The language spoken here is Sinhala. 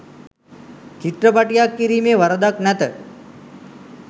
චිත්‍රපටියක් කිරීමේ වරදක් නැත.